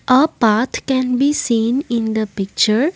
a path can be seen in the picture.